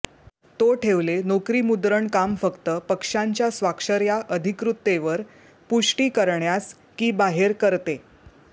तो ठेवले नोकरी मुद्रण काम फक्त पक्षांच्या स्वाक्षर्या अधिकृततेवर पुष्टी करण्यास की बाहेर करते